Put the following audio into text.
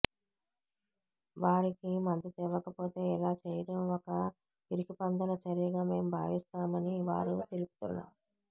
వారికి మద్దతివ్వకపోతే ఇలా చెయ్యడం ఒక పిరికిపందల చర్యగా మేము భావిస్తామని వారు తెలుపుతున్నారు